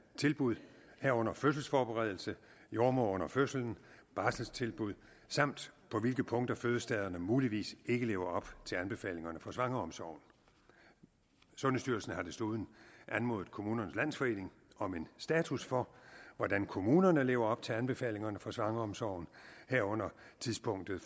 tilbud herunder fødselsforberedelse jordemoder under fødslen barselstilbud samt på hvilke punkter fødestederne muligvis ikke lever op til anbefalingerne for svangreomsorgen sundhedsstyrelsen har desuden anmodet kommunernes landsforening om en status for hvordan kommunerne lever op til anbefalingerne for svangreomsorgen herunder tidspunktet